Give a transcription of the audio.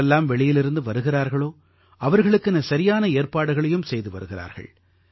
யாரெல்லாம் வெளியிலிருந்து வருகிறார்களோ அவர்களுக்கென சரியான ஏற்பாடுகளையும் செய்து வருகிறார்கள்